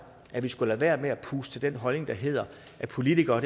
at vi skulle lade være med at puste til den holdning at politikere